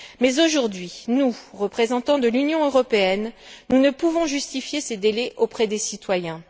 Mais aujourd'hui, nous, représentants de l'Union européenne, nous ne pouvons justifier ces délais auprès des citoyens.